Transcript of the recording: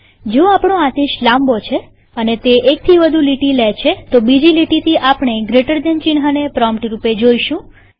જો આપણો આદેશ લાંબો છે અને તે એકથી વધુ લીટી લે છે તો બીજી લીટીથી આપણે જીટી ચિહ્નને પ્રોમ્પ્ટ રૂપે જોઈશું